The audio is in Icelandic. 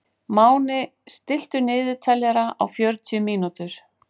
Máni, stilltu niðurteljara á fjörutíu mínútur.